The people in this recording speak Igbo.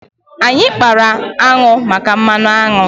Anyị kpara aṅụ maka mmanụ aṅụ.